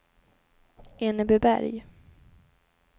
Enebyberg